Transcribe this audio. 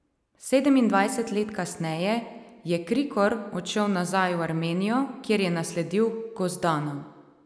Sedemindvajset let kasneje je Krikor odšel nazaj v Armenijo, kjer je nasledil Gosdana.